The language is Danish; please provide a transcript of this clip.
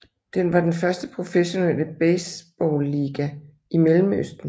Den var den første professionelle baseballiga i Mellemøsten